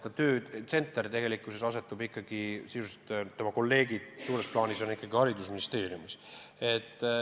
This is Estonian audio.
Tema töötsenter tegelikkuses on selline, et sisuliselt tema kolleegid suures plaanis on ikkagi haridusministeeriumis.